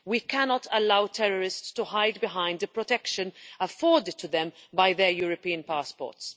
We cannot allow terrorists to hide behind the protection afforded to them by their European passports.